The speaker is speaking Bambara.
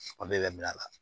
bɛ minɛ a la